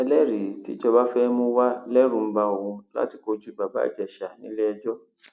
ẹlẹrìí tíjọba fẹẹ mú wa lẹrù ń ba òun láti kojú bàbá ìjèṣà nílẹẹjọ